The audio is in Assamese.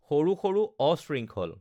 সৰু সৰু অশৃঙ্খল